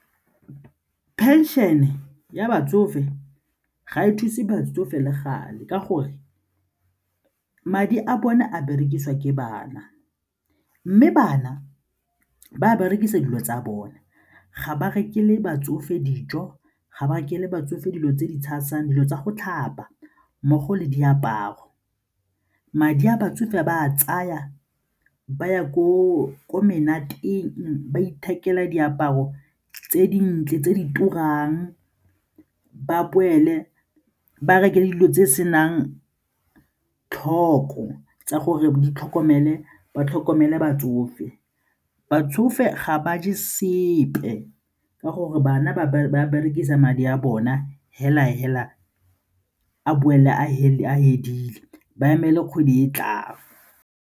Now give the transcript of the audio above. Pension-e ya batsofe ga e thuse batsofe le gale ka gore madi a bone a berekisiwa ke bana mme bana ba berekisa dilo tsa bone, ga ba rekele batsofe dijo ga ba rekele batsofe dilo tse di tshasang, dilo tsa go tlhapa mmogo le diaparo. Madi a batsofe ba ba a tsaya ba ya ko menateng ba ithekela diaparo tse dintle tse di turang, ba boele ba reke le dilo tse senang tlhoko tsa gore ba tlhokomele batsofe. Batsofe ga ba je sepe ka gore bana ba berekisa madi a bona fela-fela a boele a fedile ba emele kgwedi e tlang.